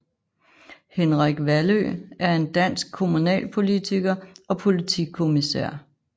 Henrik Vallø er en dansk kommunalpolitiker og politikommissær